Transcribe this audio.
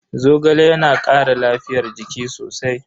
Zogale yana kara lafiyar jiki sosai.